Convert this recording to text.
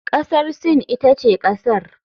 Kasar Sin ita ce kasar.